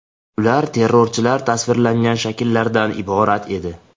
Ular terrorchilar tasvirlangan shakllardan iborat edi.